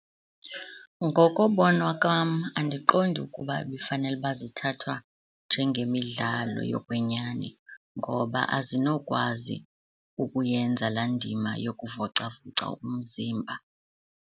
Ngokobona kwam andiqondi ukuba ibifanele ukuba zithathwa njengemidlalo yokwenyani ngoba azinokwazi ukuyenza laa ndima yokuvocavoca umzimba.